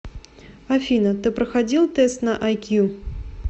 афина ты проходил тест на ай кью